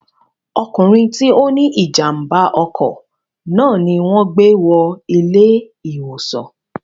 ọkùnrin tí ó ní ìjàmbá ọkọ̀ náà ni wọn gbé wọ ilé ìwòsàn